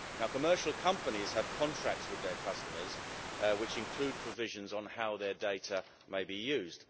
Commercial companies have contracts with their customers, which include provisions on how their data may be used.